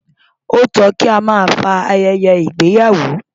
Ó tó kí a máa fa ayẹyẹ ìgbéyàwó.